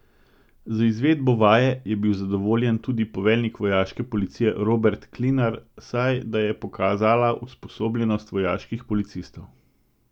Z izvedbo vaje je bil zadovoljen tudi poveljnik vojaške policije Robert Klinar, saj da je pokazala usposobljenost vojaških policistov.